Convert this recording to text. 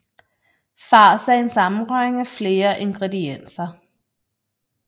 Fars er en sammenrøring af flere ingredienser